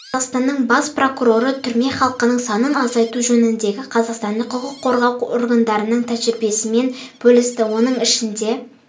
қазақстанның бас прокуроры түрме халқының санын азайту жөніндегі қазақстандық құқық қорғау органдарының тәжірибесімен бөлісті оның ішінде